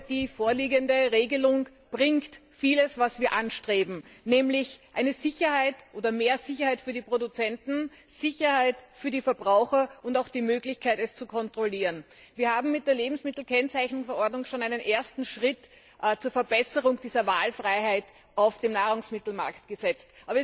Die vorliegende Regelung bringt vieles, was wir anstreben, nämlich mehr Sicherheit für die Produzenten, Sicherheit für die Verbraucher und auch die Möglichkeit, es zu kontrollieren. Wir haben mit der Lebensmittelkennzeichnungsverordnung schon einen ersten Schritt zur Verbesserung dieser Wahlfreiheit auf dem Nahrungsmittelmarkt gesetzt.